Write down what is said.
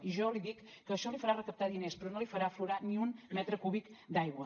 i jo li dic que això li farà recaptar diners però no li farà aflorar ni un metre cúbic d’aigua